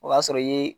O y'a sɔrɔ i ye